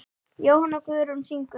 Jóhanna Guðrún syngur.